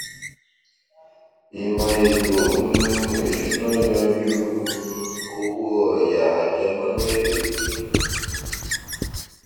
ìmò ètò um ìsúná yanjú um owó ọyà àjẹmọnú èrè pípín